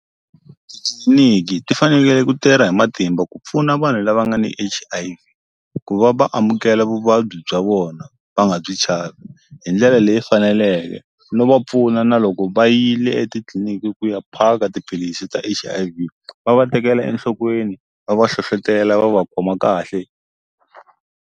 ti fanekele ku tirha hi matimba ku pfuna vanhu lava nga ni H_I_V ku va va amukela vuvabyi bya vona va nga byi chavi hi ndlela leyi faneleke no va pfuna na loko va yile etitliliniki ku ya phaka tiphilisi ta H_I_V va va tekela enhlokweni va va hlohlotela va va khoma kahle.